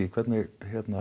hvernig